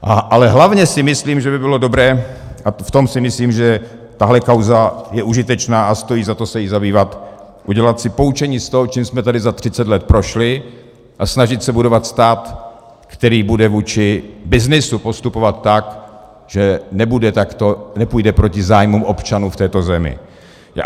Ale hlavně si myslím, že by bylo dobré, a v tom si myslím, že tahle kauza je užitečná a stojí za to se jí zabývat - udělat si poučení z toho, čím jsme tady za 30 let prošli, a snažit se budovat stát, který bude vůči byznysu postupovat tak, že nepůjde proti zájmům občanů v této zemi.